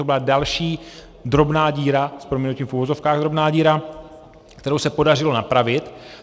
To byla další drobná díra, s prominutím v uvozovkách drobná díra, kterou se podařilo napravit.